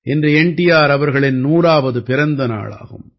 இன்று N T R அவர்களின் 100ஆவது பிறந்த நாளாகும்